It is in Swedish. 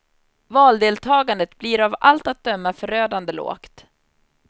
Valdeltagandet blir av allt att döma förödande lågt.